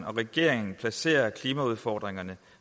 regeringen placere klimaudfordringerne